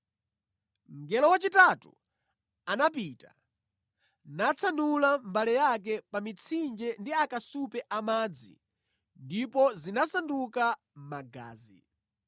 Mngelo wachitatu anapita natsanula mbale yake pa mitsinje ndi akasupe amadzi ndipo zinasanduka magazi.